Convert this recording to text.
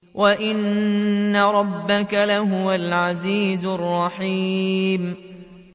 وَإِنَّ رَبَّكَ لَهُوَ الْعَزِيزُ الرَّحِيمُ